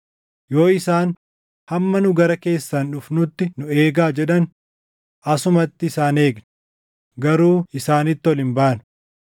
Yoo isaan, ‘Hamma nu gara keessan dhufnuttu nu eegaa’ jedhan, asumatti isaan eegna; garuu isaanitti ol hin baanu.